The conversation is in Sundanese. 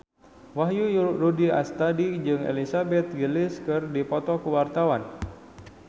Wahyu Rudi Astadi jeung Elizabeth Gillies keur dipoto ku wartawan